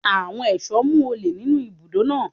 Àwọn ẹ̀ṣọ́ mú olè nínú ibùdó náà.